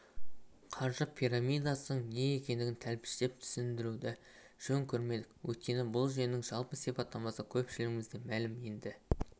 қаржы пирамидасының не екендігін тәптіштеп түсіндіруді жөн көрмедік өйткені бұл жүйенің жалпы сипаттамасы көпшілігімізге мәлім енді